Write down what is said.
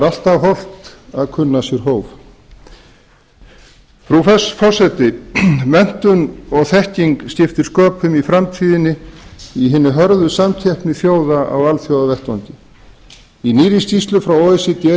alltaf hollt að kunna sér hóf frú forseti menntun og þekking skiptir sköpum í framtíðinni í hinni hörðu samkeppni þjóða á alþjóðavettvangi í nýrri skýrslu frá o e c d